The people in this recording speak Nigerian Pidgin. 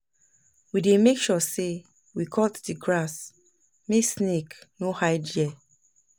We dey make sure sey we cut di grass, make snake no hide there.